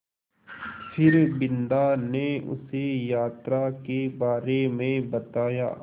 फिर बिन्दा ने उसे यात्रा के बारे में बताया